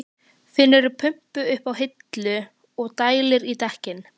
Finnur pumpu uppi á hillu og dælir í dekkin.